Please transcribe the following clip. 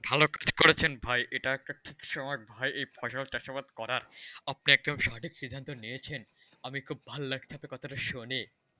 ভাল ঠিকই করেছেন ভাই, এটা একটা ঠিক সময় ভাই এই ফসল চাষাবাদ করা আপনি একদম সঠিক সিদ্ধান্ত নিয়েছেন, আমি খুব ভাল্লাগছে কথাটা শুনে।